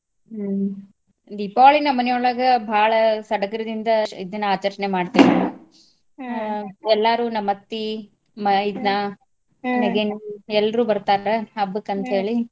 ಹ್ಮ್ ದೀಪಾವಳಿ ನಮ್ ಮನಿ ಒಳ್ಗ ಭಾಳ ಸಡ್ಗರದಿಂದ ಇದನ್ ಆಚರ್ಣೆ ಮಾಡ್ತೇವಿ ಎಲ್ಲಾರು ನಮ್ ಅತ್ತಿ ಮೈದ್ನಾ ನೆಗೆನ್ನೇರು ಎಲ್ರೂ ಬರ್ತಾರ ಹಬ್ಬಕಂತೇಳಿ.